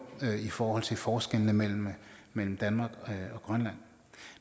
i forhold til forskellene mellem mellem danmark og grønland